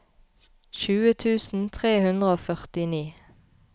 tjue tusen tre hundre og førtini